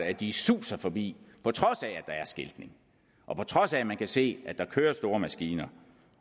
at de suser forbi på trods af at der er skiltning og på trods af at man kan se at der kører store maskiner